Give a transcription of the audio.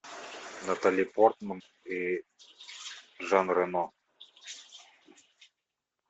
натали портман и жан рено